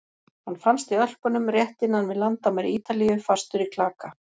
Hann fannst í Ölpunum rétt innan við landamæri Ítalíu, fastur í klaka.